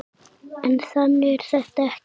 En þannig er þetta ekki.